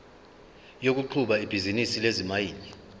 yokuqhuba ibhizinisi lezimayini